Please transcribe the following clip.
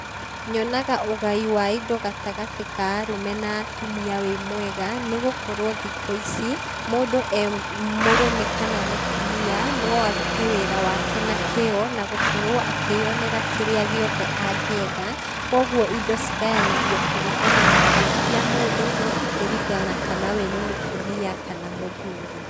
Nyonaga ũgai wa indo gatagatĩ ka arũme na atumia wĩ mwega, nĩgũkorwo thikũ ici mũndũ e mũrũme kana mũtumia no arute wĩra wake na kĩĩo na gũkorwo akĩyonera kĩrĩa gĩothe angĩenda, kogwo indo cigayanagio kũringana na kĩyo kĩa mũndũ no ti kũringana na kana we nĩ mũtumia kana mũthuri.